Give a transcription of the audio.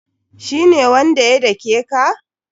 Shi ne wanda ya dake ka?